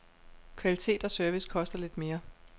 Kvalitet og service koster lidt mere.